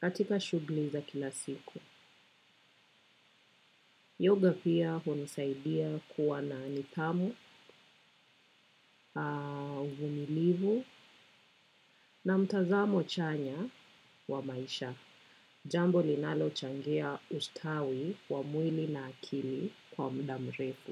Katika shughuli za kila siku. Yoga pia hunisaidia kuwa na nidhamu, uvumilivu na mtazamo chanya wa maisha. Jambo linalochangia ustawi wa mwili na akili kwa muda mrefu.